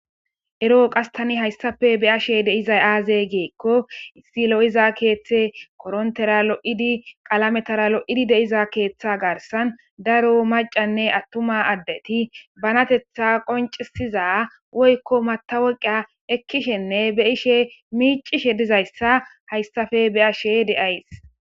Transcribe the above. eroo qastani hayssafe be ashe deizay aaze geekko issi lo7iza keeththe korontera lo7idi qalametara lo7idi deiza keeththa garsan daro macanne attuma addeti banatetha qoncisiza woykko mataweqiya ekkishenne be ishe miicishe dizayssa hayssafe be ashe deays